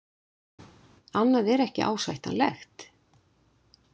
Annað er ekki ásættanlegt.